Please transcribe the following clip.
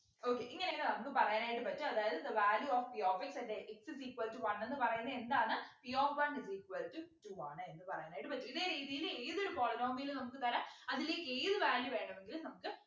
okay ഇങ്ങനെയൊക്കെ നമുക്ക് പറയാനായിട്ടു പറ്റും അതായത് the value of p of x at x is equal to one എന്ന് പറയുന്ന എന്താണ് p of one is equal to two ആണ് എന്ന് പറയാനായിട്ട് പറ്റും ഇതേ രീതിയിൽ ഏതൊരു polynomial ഉം നമുക്ക് തരാം അതില് ഏത് value വേണമെങ്കിലും നമുക്ക്